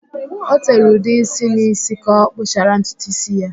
O tere ude ísí n'ísí ka ọ kpụchara ntutu ísí ya.